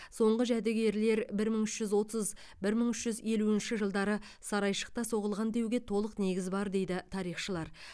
соңғы жәдігерлер бір мың үш жүз отыз бір мың үш жүз елуінші жылдары сарайшықта соғылған деуге толық негіз бар дейді тарихшылар